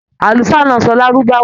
Àlùfáà náà n sọ lárúbáwá.